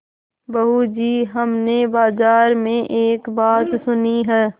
बहू जी हमने बाजार में एक बात सुनी है